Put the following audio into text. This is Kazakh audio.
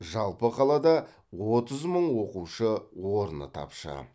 жалпы қалада отыз мың оқушы орны тапшы